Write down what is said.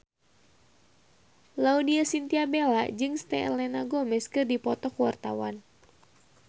Laudya Chintya Bella jeung Selena Gomez keur dipoto ku wartawan